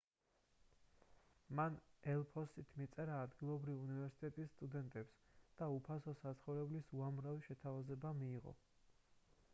მან ელ-ფოსტით მიწერა ადგილობრივი უნივერსიტეტის სტუდენტებს და უფასო საცხოვრებლის უამრავი შეთავაზება მიიღო